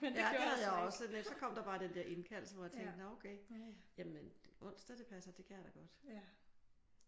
Ja det havde jeg også sådan lidt. Så kom der bare den der indkaldelse hvor jeg tænkte nå okay jamen onsdag det passer. Det kan jeg da godt